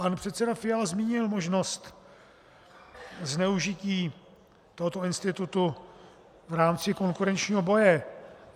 Pan předseda Fiala zmínil možnost zneužití tohoto institutu v rámci konkurenčního boje.